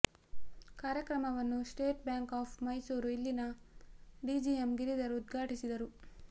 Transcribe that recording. ಕಾರ್ಯಕ್ರಮವನ್ನು State Bank of Mysore ಇಲ್ಲಿನ DGM Giridhar ಉದ್ಘಾಟಿಸಿದರು